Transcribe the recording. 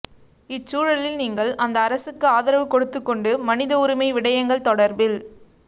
இச்சூழலில் நீங்கள் அந்த அரசுக்கு ஆதரவு கொடுத்துக்கொண்டு மனித உரிமை விடயங்கள் தொடர்பில்